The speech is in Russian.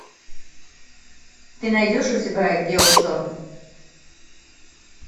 ты найдешь у себя геошторм